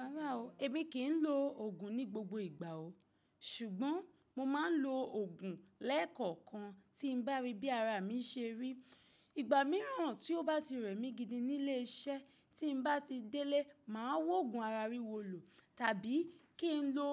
Rárá o, èmi kì í lo òògùn ní gbogbo ìgbà o. Ṣùgbọ́n mo máa ń lo òògùn lẹ́ẹ̀kọ̀kan tí n bá rí bí ara mi ṣe rí. Ìgbà míràn tí ó bá ti rẹ̀ mí gidi nílé iṣẹ́, tí n bá ti délé, màá wóògùn ara rí wolò tàbí kí n lo